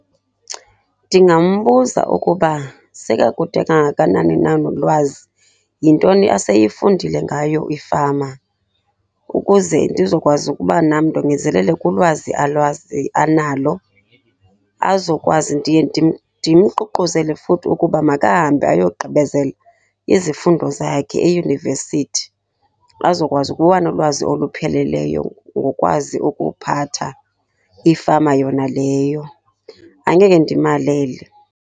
Ndingambuza ukuba sekakude kangakanani na nolwazi. Yintoni aseyifundile ngayo ifama ukuze ndizokwazi ukuba nam ndongezelele kulwazi alwazi analo, azokwazi. Ndiye ndimququzele futhi ukuba makahambe ayogqibezela izifundo zakhe eyunivesithi, azokwazi ukuba nolwazi olupheleleyo ngokwazi ukuphatha ifama yona leyo, angeke ndimalele.